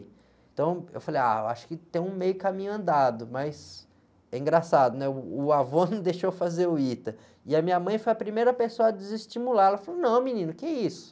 Então, eu falei, ah, eu acho que tem um meio caminho andado, mas é engraçado, né? O avô não deixou fazer o ITA, e a minha mãe foi a primeira pessoa a desestimular, ela falou, não menino, o que é isso?